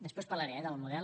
després en parlaré eh del model